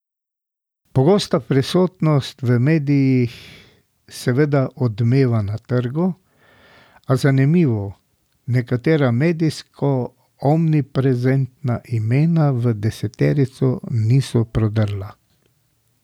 Pogosta prisotnost v medijih seveda odmeva na trgu, a, zanimivo, nekatera medijsko omniprezentna imena v deseterico niso prodrla.